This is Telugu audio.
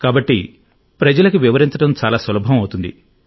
కాబట్టి ప్రజలకు వివరించడం చాలా సులభం అవుతుంది